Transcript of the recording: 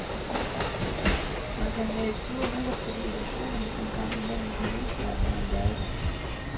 Man kan være i tvivl, netop fordi illusionen en gang imellem kan vise sig at være en gave.